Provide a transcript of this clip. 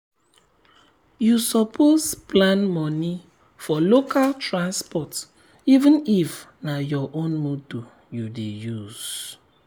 you suppose plan money for local transport even if na your own motor you dey use.